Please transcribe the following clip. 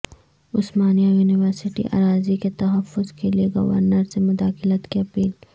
عثمانیہ university اراضی کے تحفظ کیلئے گورنر سے مداخلت کی اپیل